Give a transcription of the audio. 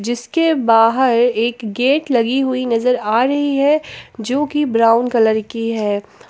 जिसके बाहर एक गेट लगी हुई नजर आ रही है जो कि ब्राउन कलर की है।